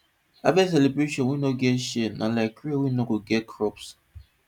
harvest celebration wey no get share na like rain wey no get crops